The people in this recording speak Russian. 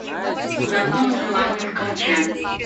закон желания включай